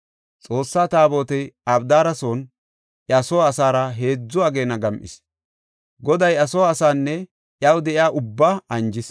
Xoossa Taabotey Abdaara son iya soo asaara heedzu ageena gam7is. Goday iya soo asaanne iyaw de7iya ubbaa anjis.